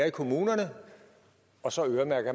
i kommunerne og så øremærker